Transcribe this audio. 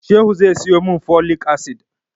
Shehu zai siyo mun folic acid